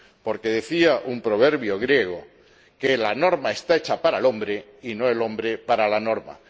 Porque decía un proverbio griego que la norma está hecha para el hombre y no el hombre para la norma.